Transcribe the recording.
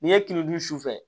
N'i ye tini dun sufɛ